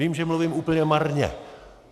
Vím, že mluvím úplně marně.